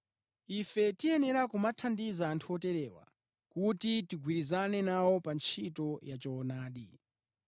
Ife tiyenera kumathandiza anthu oterewa, kuti tigwirizane nawo pa ntchito ya choonadi.